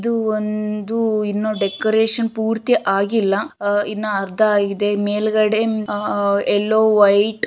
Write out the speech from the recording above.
ಇದು ಒಂದು ಇನ್ನೂ ಡೆಕೋರೇಷನ್ ಪೂರ್ತಿ ಆಗಿಲ್ಲ ಅಹ್ ಇನ್ನ ಅರ್ಧ ಆಗಿದೆ ಮೇಲ್ಗಡೆ ಅಹ್ ಯೇಲ್ಲೋ ವೈಟ್ --